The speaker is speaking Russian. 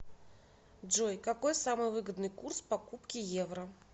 джой какой самый выгодный курс покупки евро